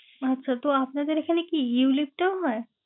আচ্ছা তো আপনাদের এখানে কি ulite টাও হয়?